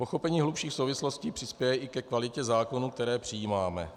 Pochopení hlubších souvislostí přispěje i ke kvalitě zákonů, které přijímáme.